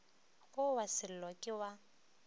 wo wa sello ke wa